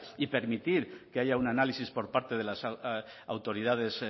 y permitir que haya un análisis por parte de las autoridades